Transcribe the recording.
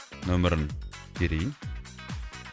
нөмірін терейін